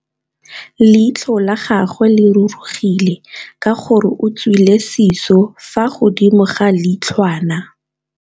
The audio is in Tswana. Leitlhô la gagwe le rurugile ka gore o tswile sisô fa godimo ga leitlhwana.